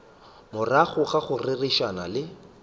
morago ga go rerišana le